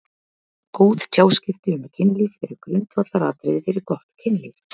Góð tjáskipti um kynlíf eru grundvallaratriði fyrir gott kynlíf.